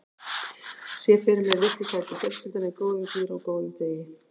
Ég sé fyrir mér litlu sætu fjölskylduna í góðum gír á góðum degi.